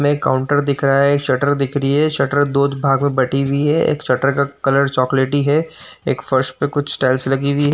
में काउंटर दिख रहा है। एक शटर दिख रही है। शटर दो भाग में बटी हुई है। एक शटर का कलर चोकलेटी है। एक फर्श पे कुछ टाइल्स लगी हुई --